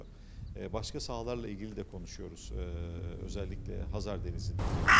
Eee başqa sahələrlə bağlı da danışırıq eee xüsusilə Xəzər Dənizindəki.